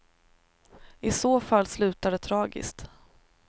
I så fall slutar det tragiskt.